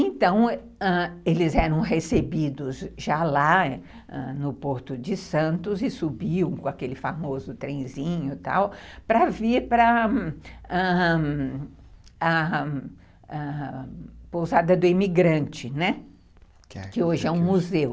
Então, eles eram recebidos já lá no Porto de Santos e subiam com aquele famoso trenzinho, tal, para vir para ãh ãh ãh para a pousada do imigrante, né, que hoje é um museu.